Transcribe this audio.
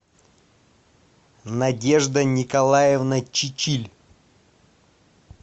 надежда николаевна чичиль